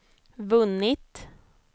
vunnit